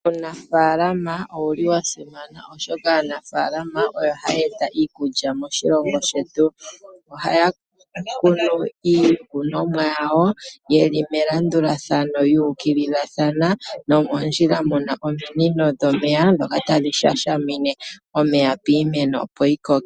Uunafaalama owu li wa simana, oshoka aanafaalama oyo haa eta iikulya moshilongo shetu. Ohaya kunu iikunomwa yawo, ye li melandulathano yu ukililathana, nomondjila mu na ominino dhomeya ndhoka tadhi shashamine omeya piimeno, opo yi koke.